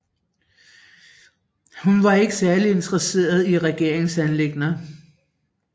Hun var ikke særlig interesseret i regeringsanliggender